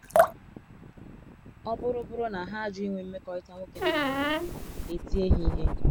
Ọ bụrụ bụrụ na ha ajụ inwe mmekọrịta nwoke na nwanyi, e tie ha ihe.